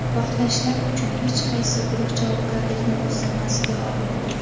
Portlashlar uchun hech qaysi guruh javobgarlikni o‘z zimmasiga olmadi.